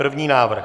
První návrh?